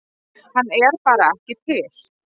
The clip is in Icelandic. Hann er bara ekki til.